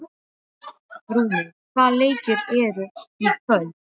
Rúnel, hvaða leikir eru í kvöld?